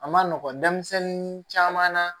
A ma nɔgɔn denmisɛnnin caman na